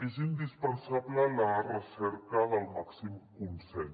és indispensable la recerca del màxim consens